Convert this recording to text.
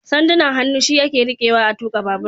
Sandunan hannu shi ake rikewa a tuka babur